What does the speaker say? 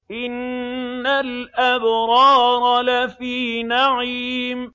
إِنَّ الْأَبْرَارَ لَفِي نَعِيمٍ